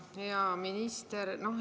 Hea minister!